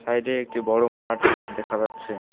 Side -এ একটি বড়ো মাঠ দেখা যাচ্ছে।